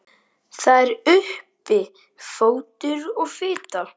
En það eru draugar í Apótekinu